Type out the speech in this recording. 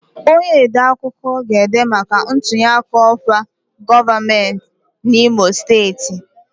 Onye odeakụkọ ga-ede maka ntunyeaka ọkwa gọvanọ n'Imo Steeti